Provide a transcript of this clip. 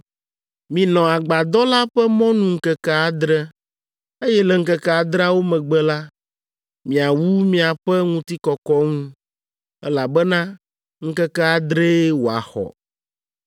“Minɔ Agbadɔ la ƒe mɔnu ŋkeke adre, eye le ŋkeke adreawo megbe la, miawu miaƒe ŋutikɔkɔ nu, elabena ŋkeke adree wòaxɔ.